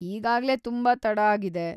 ಈಗಾಗ್ಲೇ ತುಂಬಾ ತಡ ಆಗಿದೆ.